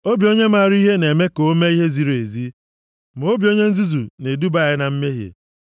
Obi onye maara ihe na-eme ka o mee ihe ziri ezi, ma obi onye nzuzu na-eduba ya na mmehie.